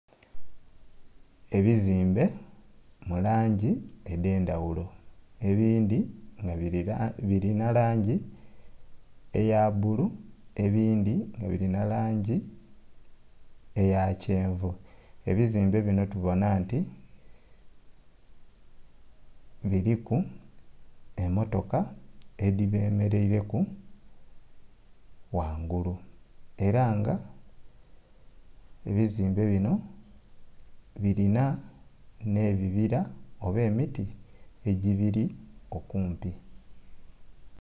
Ebizimbe mu langi edhendhaghulo ebindhi nga birina langi eya bbuli ebindhi nga birina langi eya kyenvu. Ebizimbe bino tubona nti biriku emotoka edhi bemereireku ghangulu era nga ebzimbe bino birina ne ebibira oba emiti egibiri okumpi.